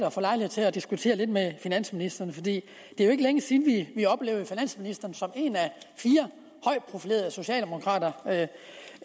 og få lejlighed til at diskutere lidt med finansministeren det er jo ikke længe siden at vi oplevede finansministeren som en af fire højt profilerede socialdemokrater